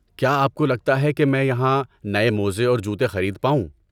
کیا آپ کو لگتا ہے کہ میں یہاں نئے موزے اور جوتے خرید پاؤں؟